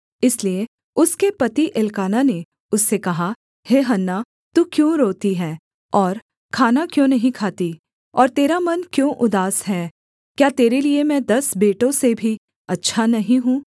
इसलिए उसके पति एल्काना ने उससे कहा हे हन्ना तू क्यों रोती है और खाना क्यों नहीं खाती और तेरा मन क्यों उदास है क्या तेरे लिये मैं दस बेटों से भी अच्छा नहीं हूँ